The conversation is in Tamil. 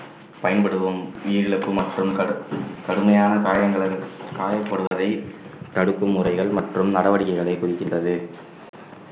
பயன்படுவோம் உயிரிழப்பு மற்றும் கடு~ கடுமையான காயங்கள் காயப்படுவதை தடுக்கும் முறைகள் மற்றும் நடவடிக்கைகளை குறிக்கின்றது